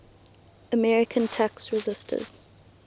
american tax resisters